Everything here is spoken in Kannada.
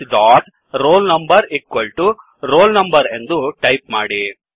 roll number roll number ಎಂದು ಟಾಯಿಪ್ ಮಾಡಿ